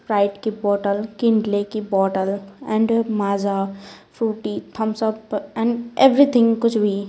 Sprite की bottle Kinley की bottle and Maaza Frooti Thums Up and everything कुछ भी --